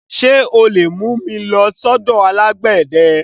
Ṣé o lè mú mi lọ sọ́dọ̀ alágbẹ̀dẹ?